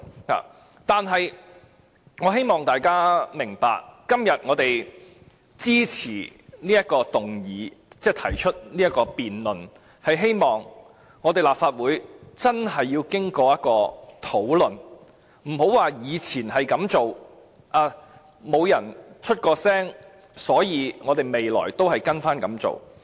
可是，我希望大家明白，我們今天支持這項議案，提出辯論，便是希望立法會要真正經過討論，而不要單單說以往也是這樣做，既然沒有人提出意見，所以未來便要照着做。